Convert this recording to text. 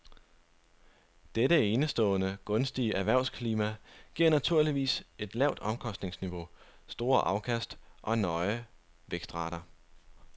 Dette enestående gunstige erhvervsklima giver naturligvis et lavt omkostningsniveau, store afkast og høje vækstrater.